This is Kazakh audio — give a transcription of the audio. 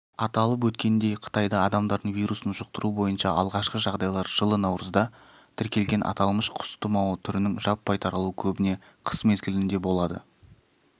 аталып өткендей қытайда адамдардың вирусын жұқтыру бойынша алғашқы жағдайлар жылы наурызда тіркелген аталмыш құс тұмауы түрінің жаппай таралуы көбіне қыс-мезгілінде болады